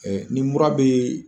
Ɛɛ ni mura bɛ